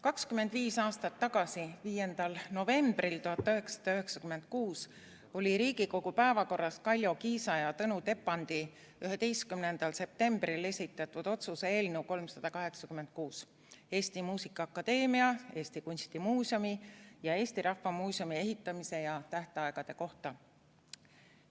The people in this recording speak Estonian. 25 aastat tagasi, 5. novembril 1996 oli Riigikogu päevakorras Kaljo Kiisa ja Tõnu Tepandi 11. septembril esitatud otsuse eelnõu 386 Eesti Muusikaakadeemia, Eesti Kunstimuuseumi ja Eesti Rahva Muuseumi ehitamise ja selle tähtaegade kohta.